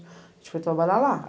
A gente foi trabalhar lá.